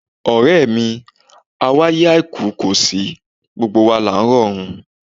Ọ̀rẹ́ mi, awáyé àìkú kò sí, gbogbo wa là ń rọ̀run.